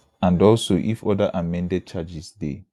and also if oda amended charges dey